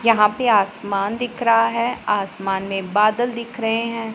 यहां पे आसमान दिख रहा है आसमान में बादल दिख रहे हैं।